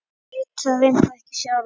Veit það reyndar ekki sjálf.